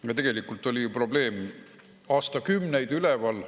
Aga tegelikult oli ju probleem aastakümneid üleval.